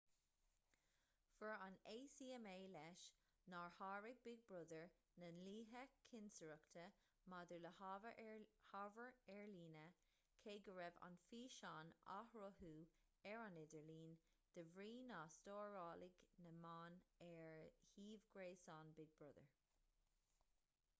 fuair an acma leis nár sháraigh big brother na dlíthe cinsireachta maidir le hábhar ar líne cé go raibh an físeán á shruthú ar an idirlíon de bhrí nár stóráladh na meáin ar shuíomh gréasáin big brother